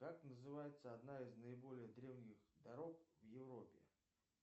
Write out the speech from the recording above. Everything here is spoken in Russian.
как называется одна из наиболее древних дорог в европе